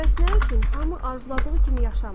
Bəs nə üçün hamı arzuladığı kimi yaşamır?